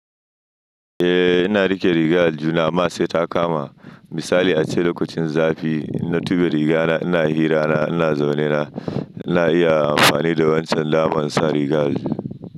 Eh ina riƙe rigar aljihuna amma sai ta kama. Misali ace lokacin zafiinna tuɓe rigana ina hira na ina zaune na ina iya amfani da wancan daman insa rigar a aljihu.